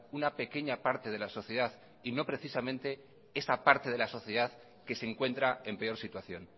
una pequeña parte de la sociedad y no precisamente esa parte de la sociedad que se encuentra en peor situación